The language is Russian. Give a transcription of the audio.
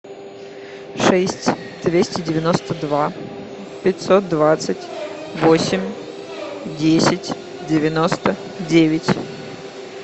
шесть двести девяносто два пятьсот двадцать восемь десять девяносто девять